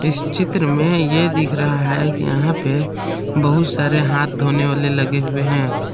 इस चित्र में ये दिख रहा है कि यहां पे बहुत सारे हाथ धोने वाले लगे हुए हैं।